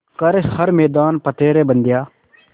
कर हर मैदान फ़तेह रे बंदेया